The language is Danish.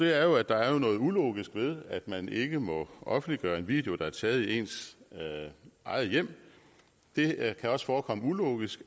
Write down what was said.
er jo at der er noget ulogisk ved at man ikke må offentliggøre en video der er taget i ens eget hjem det kan også forekomme ulogisk